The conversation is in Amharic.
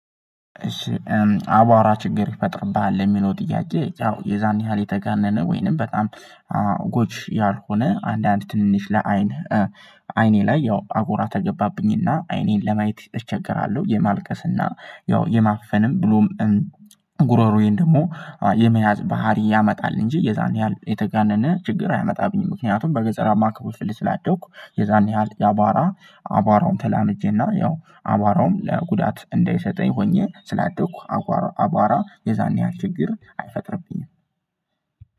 አቧራ ችግር ይፈጥርብሃል የሚለው ጥያቄ ያው የዛን ያህል የተጋነነ ወይንም በጣም ጎጅ ያልሆነ አንዳንድ ትንንሽ ለአይን አይኔ ላይ ያው አቧራ ከገባብኝ እና አይኔን ለማየት እቸገራለሁ የማልቀስ እና ያው የማፈንም ብሎም ጉሮሮዬን ደግሞ የመያዝ ባህሪ ያመጣል እንጂ የዛን ያህል የተጋነነ ችግር አያመጣብኝም። ምክንያቱም በገጠራማ ክፍል ስላደኩ የዛን ያህል የአቧራ አቧራውን ተላምጄ እና ያው አቧራውም ለጉዳት እንዳይሰጠኝ ሆኜ ስላደኩ። አቧራ የዛን ያህል ችግር አይፈጥርብኝም